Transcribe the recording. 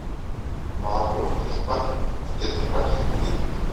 молоко в тетр паке один литр